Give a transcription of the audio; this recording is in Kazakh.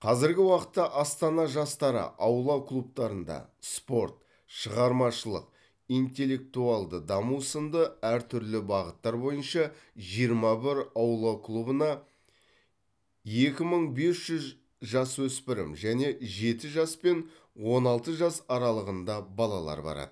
қазіргі уақытта астана жастары аула клубтарында спорт шығармашылық интеллектуалды даму сынды әртүрлі бағыттар бойынша жиырма бір аула клубына екі мың бес жүз жасөспірім мен жеті жас пен он алты жас аралығында балалар барады